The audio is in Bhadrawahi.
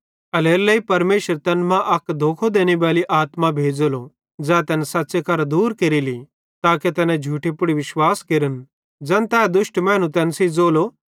एल्हेरेलेइ परमेशर तैन मां अक धोखो देनेबाली आत्मा भेज़ेलो ज़ै तैन सच़्च़े करां दूर केरेली ताके तैना झूठे पुड़ विश्वास केरन ज़ैन तै दुष्ट मैनू तैन सेइं ज़ोलो